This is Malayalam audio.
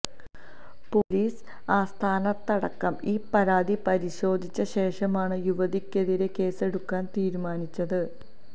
പൊലീസ് ആസ്ഥാനത്തടക്കം ഈ പരാതി പരിശോധിച്ച ശേഷമാണ് യുവതിക്കെതിരേ കേസെടുക്കാൻ തീരുമാനിച്ചത്